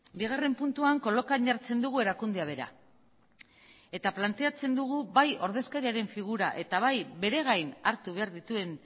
bigarren puntuan kolokan jartzen dugu erakundea bera eta planteatzen dugu bai ordezkariaren figura eta bai bere gain hartu behar dituen